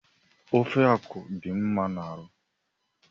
Ofe akwụ dị mma n'arụ